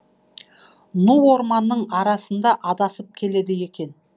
ну орманның арасында адасып келеді екен